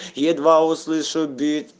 едва услышу бит